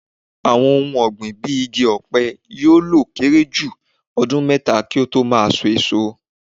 Àwọn ohun ọ̀gbìn bíi igi ọ̀pẹ yóò lọ ó kéré jù ọdún mẹ́ta kí ó tó máa sọ èso.